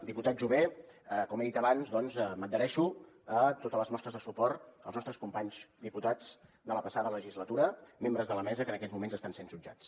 diputat jové com he dit abans doncs m’adhereixo a totes les mostres de suport als nostres companys diputats de la passada legislatura membres de la mesa que en aquests moments estan sent jutjats